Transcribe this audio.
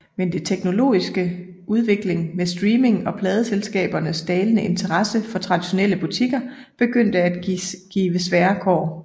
Men det teknologiske udvikling med streaming og pladeselskabernes dalende interesse for traditionelle butikker begyndte at give svære kår